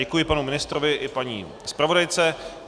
Děkuji panu ministrovi i paní zpravodajce.